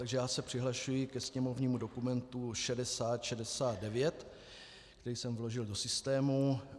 Takže já se přihlašuji ke sněmovnímu dokumentu 6069, který jsem vložil do systému.